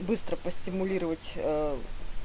быстро постимулировать